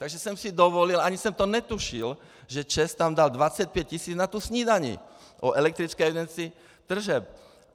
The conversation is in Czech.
Takže jsem si dovolil, ani jsem to netušil, že ČEZ tam dal 25 tisíc na tu snídani o elektrické evidenci tržeb.